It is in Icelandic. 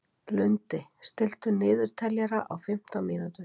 Lundi, stilltu niðurteljara á fimmtán mínútur.